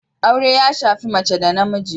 Aure ya shafi mace da namiji